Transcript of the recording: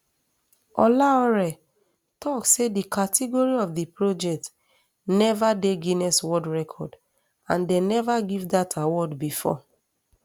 olaore tok say di category of di project neva dey guiness world record and dem neva give dat award bifor